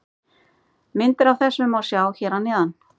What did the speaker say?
Myndir af þessu má sjá hér að neðan.